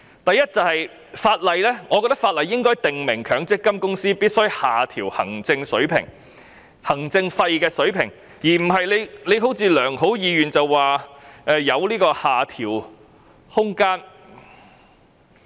第一，我認為法例應該訂明強積金公司必須下調行政費用水平，而不是如政府所抱着的良好意願般，表示有下調的空間。